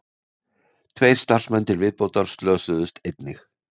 Tveir starfsmenn til viðbótar slösuðust einnig